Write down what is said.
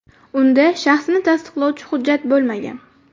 Unda shaxsini tasdiqlovchi hujjat bo‘lmagan.